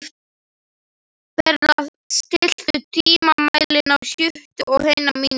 Perla, stilltu tímamælinn á sjötíu og eina mínútur.